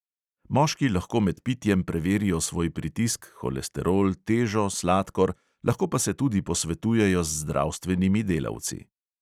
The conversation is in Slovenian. Moški lahko med pitjem preverijo svoj pritisk, holesterol, težo, sladkor, lahko pa se tudi posvetujejo z zdravstvenimi delavci.